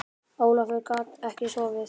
Ólafur gat ekki sofnað.